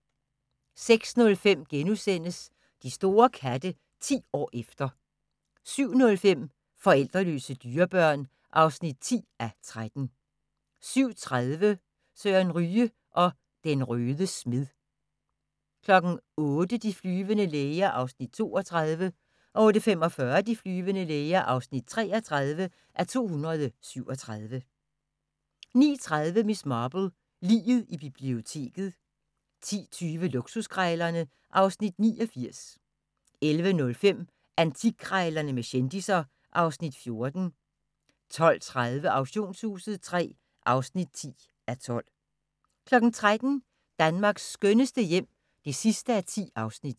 06:05: De store katte – 10 år efter * 07:05: Forældreløse dyrebørn (10:13) 07:30: Søre Ryge og den røde smed 08:00: De flyvende læger (32:237) 08:45: De flyvende læger (33:237) 09:30: Miss Marple: Liget i biblioteket 10:20: Luksuskrejlerne (Afs. 89) 11:05: Antikkrejlerne med kendisser (Afs. 14) 12:30: Auktionshuset III (10:12) 13:00: Danmarks skønneste hjem (10:10)